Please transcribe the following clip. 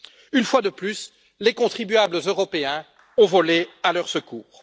Une fois de plus, les contribuables européens ont volé à leur secours.